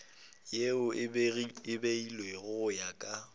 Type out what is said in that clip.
yeo e beilwego go ya